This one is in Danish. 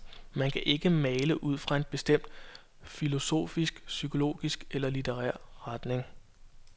Man kan ikke male ud fra en bestemt filosofisk, psykologisk eller litterær retning.